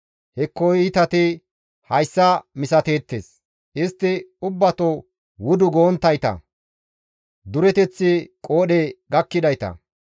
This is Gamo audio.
Hekko iitati hayssa misateettes; istti ubbato wudu gonttayta; dureteththi qoodhe gakkidayta.